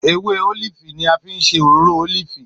Èwè òlífì ni à fi ń sè òròrò òlífì